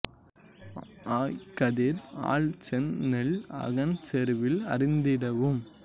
ஆய் கதிர் அழல் செந் நெல் அகன் செறுவில் அரிந்திடூஉம்